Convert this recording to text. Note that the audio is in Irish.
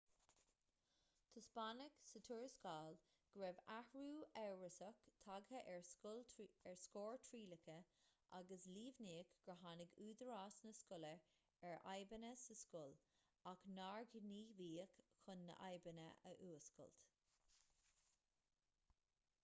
taispeánadh sa tuarascáil go raibh athrú amhrasach tagtha ar scóir trialacha agus líomhnaíodh gur tháinig údaráis na scoile ar fhadhbanna sa scoil ach nár gníomhaíodh chun na fadhbanna a fhuascailt